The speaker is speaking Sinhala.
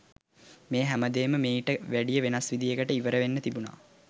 මේ හැම දේම මෙයිට වැඩිය වෙනස් විදියකට ඉවර වෙන්න තිබුණා.